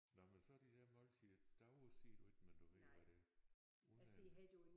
Nåh men så de her måltider davre siger du ikke men du ved hvad det er unden